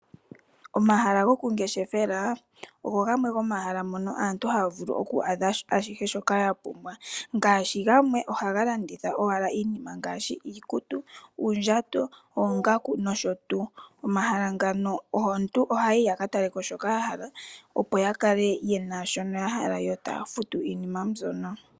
Omahala gokungeshefela ogo gamwe gomomahala mono aantu haya vulu oku adha ashihe shoka yapumbwa. Ngaashi gamwe ohaga landitha owala iinima ngaashi iikutu, uundjato, oongaku nosho tuu. Komahala ngano aantu Ohaya yi yakataleko shoka yahala opo yakale yena shono yahala. Yo taya futu iinima mbyono.